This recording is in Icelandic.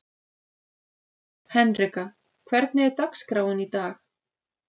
Henrika, hvernig er dagskráin í dag?